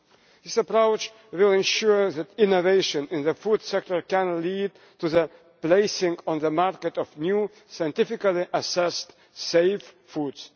This approach will ensure that innovation in the food sector can lead to the placing on the market of new scientifically-assessed safe foods.